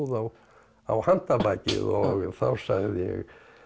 á á handabakið og þá sagði ég